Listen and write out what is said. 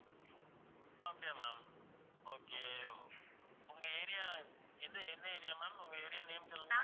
அப்படியா ma'am okay உங்க area எந்த எந்த area ma'am உங்க area name சொல்லுங்க